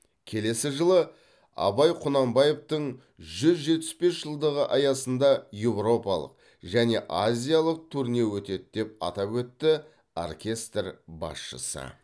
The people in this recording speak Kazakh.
келесі жылы абай құнанбаевтың жүз жетпіс бес жылдығы аясында еуропалық және азиялық турне өтеді деп атап өтті оркестр басшысы